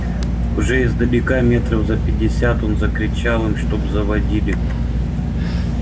уже издалека метров за пятьдесят он закричал им чтобы заводили